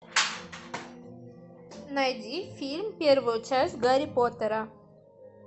найди фильм первую часть гарри поттера